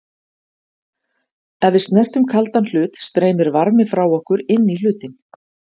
Ef við snertum kaldan hlut streymir varmi frá okkur inn í hlutinn.